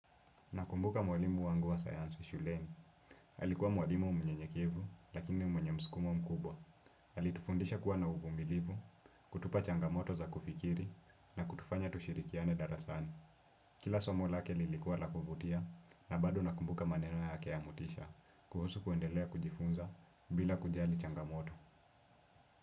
Nakumbuka mwalimu wangu wa sayansi shuleni. Alikuwa mwalimu mnyekevu lakini mwenye mskumo mkubwa. Alitufundisha kuwa na uvumilivu, kutupa changamoto za kufikiri na kutufanya tushirikiane darasani. Kila somo lake lilikuwa la kuvutia na bado nakumbuka maneno yake ya motisha kuhusu kuendelea kujifunza bila kujali changamoto.